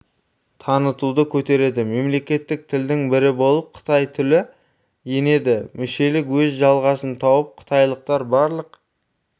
танытуды көтереді мемлекеттік тілдің бірі болып қытай тілі енеді мүшелік өз жалғасын тауып қытайлықтар барлық